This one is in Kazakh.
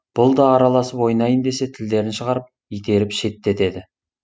бұл да араласып ойнайын десе тілдерін шығарып итеріп шеттетеді